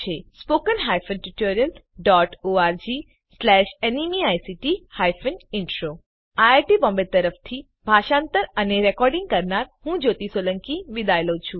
spoken hyphen tutorial dot org slash ન્મેઇક્ટ hyphen intro આ script માટે ફાળો જ્યોતી સોલંકી દ્વારા આપવામાં આવ્યો છે iit બોમ્બે તરફથી સ્પોકન ટ્યુટોરીયલ પ્રોજેક્ટ માટે ભાષાંતર કરનાર હું જ્યોતી સોલંકી વિદાય લઉં છું